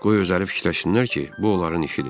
Qoy özləri fikirləşsinlər ki, bu onların işidir.